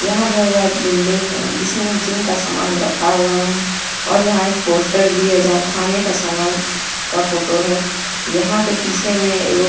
यहां बहोत बड़ा बिल्डिंग है जिसमें जिम का समान रखा हुआ है और यहां एक पोस्टर भी है जहां खाने का समान का फोटो है यहां पे पीछे में एगो --